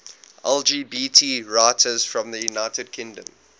lgbt writers from the united kingdom